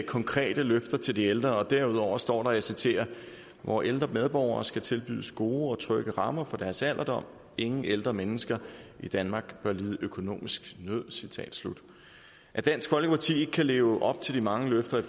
konkrete løfter til de ældre og derudover står og jeg citerer vore ældre medborgere skal tilbydes gode og trygge rammer for deres alderdom ingen ældre mennesker i danmark bør lide økonomisk nød citat slut at dansk folkeparti ikke kan leve op til de mange løfter i